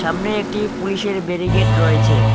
সামনে একটি পুলিশের বেরিকেড রয়েছে।